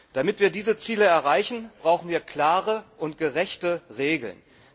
Damit wir diese Ziele erreichen, brauchen wir klare und gerechte Regeln.